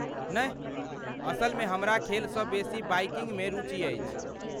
नहि, असलमे हमरा खेलसँ बेसी बाइकिंगमे रुचि अछि।